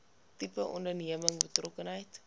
tipe onderneming betrokkenheid